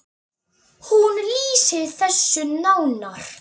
Hún lýsir þessu nánar.